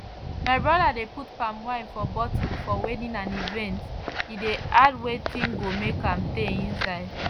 my brother de put palm wine for bottle for wedding and events he de add wetin go make am tey inside